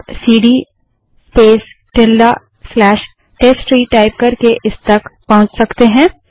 आप CD space tilde slash test tree type करके इस तक पहुँच सकते हैं